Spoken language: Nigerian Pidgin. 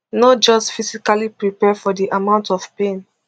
no just physically prepare for di amount of pain